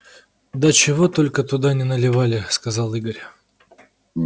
да чего только туда не наливали сказал игорь